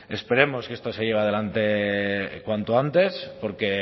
esperemos que esto se lleve adelante cuanto antes porque